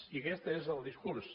i aquest és el discurs